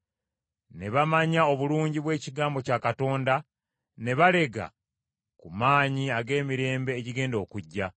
ne bamanya obulungi bw’ekigambo kya Katonda, ne balega ku maanyi ag’emirembe egigenda okujja,